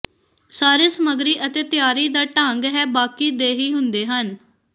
ਸਾਰੇ ਸਮੱਗਰੀ ਅਤੇ ਤਿਆਰੀ ਦਾ ਢੰਗ ਹੈ ਬਾਕੀ ਦੇ ਹੀ ਹੁੰਦੇ ਹਨ